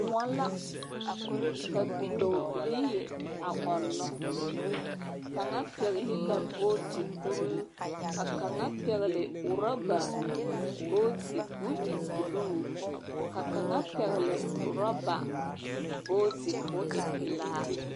Kõɔ la ka bidɔɔilii a ɔnnɔ. Kaŋa pɛgle la booti kuruu, ka kaŋa pɛgle roba booti koo e buluu. Ka kaŋa pɛgle roba booti koo e pelaa.